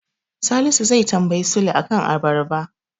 Salisu zai tambayi Sule a kan abarba.